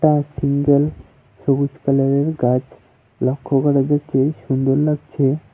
Single সবুজ কালারের গাছ লক্ষ্য করা যাচ্ছে সুন্দর লাগছে।